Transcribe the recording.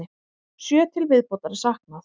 Sjö til viðbótar er saknað.